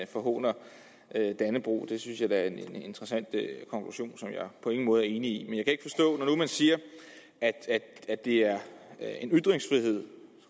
forhåner dannebrog det synes jeg da er en interessant konklusion som jeg på ingen måde er enig i man siger at det er en ytringsfrihed